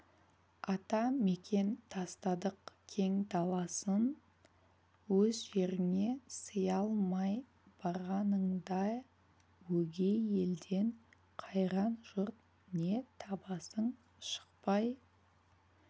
ата-мекен тастадық кең даласын өз жеріңе сыя алмай барғаныңда өгей елден қайран жұрт не табасың шықпай